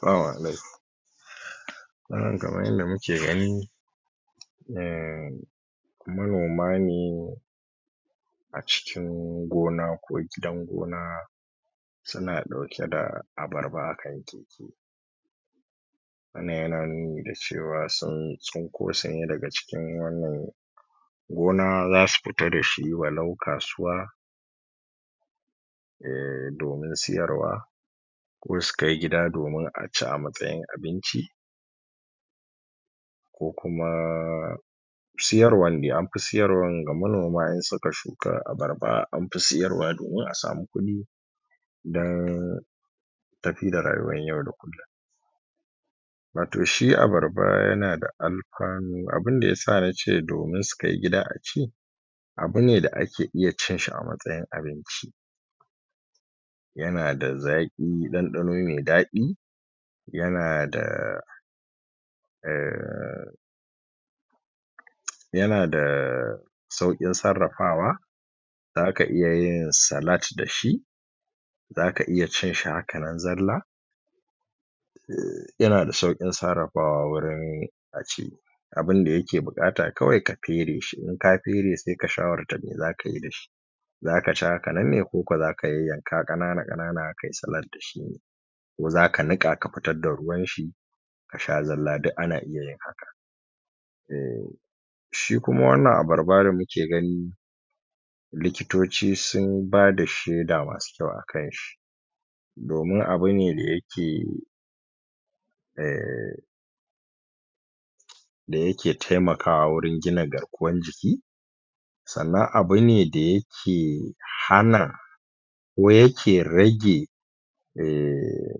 Salamu alaikum kamar yadda muke gani umm manoma ne a cikin gona ko gidan gona suna ɗauke da abarba a kai wannan yana nuni da cewa sun tsinko sune daga cikin wannan gona zasu fita da shi walau kasuwa eh, domin siyarwa ko su kai gida domin a ci a matsayin abinci ko kuma siyarwan dai, anfi siyarwan ga manoma in suka shuka abarba anfi siyarwa domin a samu kuɗi dan tafi da rayuwan yau da kullun wato shi abarba yana da alfanu, abinda yasa na ce domin su kai gida a ci abu ne da ake iya cin shi a matsayin abinci yana da zaƙi, ɗanɗano me daɗi yana da umm yana da sauƙin sarrafawa zaka iya yin salad da shi zaka iya cin shi haka nan zalla yana da sauƙin sarrafawa wurin a ci abinda yake buƙata kawai ka fere shi, in ka fere sai ka shawarta me zaka yi da shi zaka ci haka nan ne, ko ko zaka yanyanka ƙanana-ƙanana kai salad da shi ko zaka niƙa ka fitar da ruwan shi ka sha zalla, duk ana iya yin haka eh shi kuma wannan abarba da muke gani likitoci sun bada shaida masu kyau a kan shi domin abu ne yake eh sannan abu ne da yake hana ko yake rage eh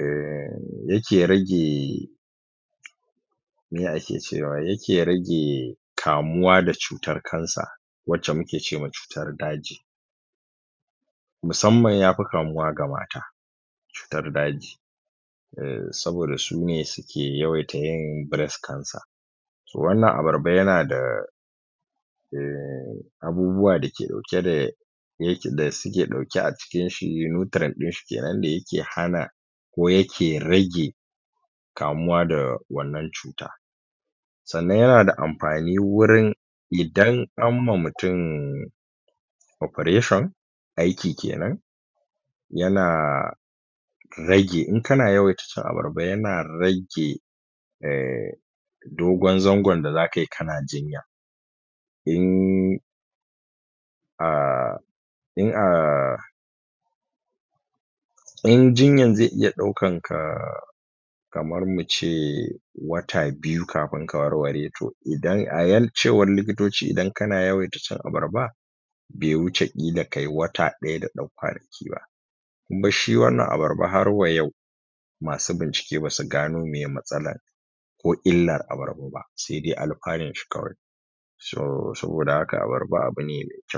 eh, yake rage meye ake cewa, yake rage kamuwa da cutan cancer wacce muke ce ma cutan daji musamman yafi kamuwa ga mata cutar daji eh saboda sune suke yawaita yin breast cancer to wannan abarba yana da eh abubuwa da ke ɗauke da yake da suke ɗauke a cikin shi nutrient ɗin shi kenan da yake hana ko yake rage kamuwa da wannan cuta sannan yana da amfani wurin idan an ma mutun operation aiki kenan yana rage, in kana yawaita cin abarba yana rage eh dogon zangon da zaka yi kana jinya in ah in ah in jinyan zai iya ɗaukan ka kamar mu ce wata biyu kafin ka warware to idan, a cewan likitoci idan kana yawaita cin abarba bai wuce ƙila kai wata ɗaya da ɗan kwanaki ba kuma shi wannan abarba har wa yau masu bincike basu gano meye matsalan ko illan abarba ba sai dai alfanun shi kawai so saboda haka abarba abu ne mai kyau.